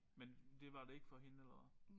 Men det var det ikke for hende eller hvad?